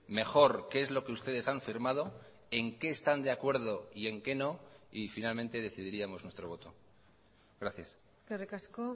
mejor qué es lo que ustedes han firmado en qué están de acuerdo y en qué no y finalmente decidiríamos nuestro voto gracias eskerrik asko